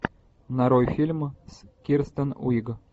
нарой фильм с кирстен уиг